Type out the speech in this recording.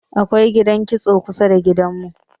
akwai gidan kitso kusada da gidan mu